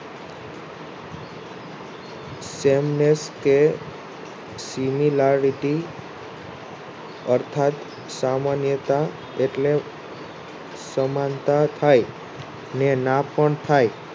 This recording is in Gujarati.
તેમને કે Similarity યર્થાથ સામાન્યતા એટલે સમાનતા થાય ને ના પણ થાય.